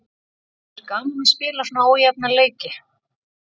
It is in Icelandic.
En er gaman að spila svona ójafna leiki?